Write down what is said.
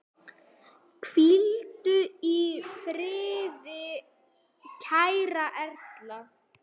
Hvíldu í friði kæra Erla.